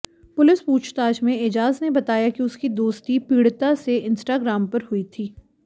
police पूछताछ में एजाज ने बताया कि उसकी दोस्ती पीड़िता से इंस्टाग्राम पर हुई थी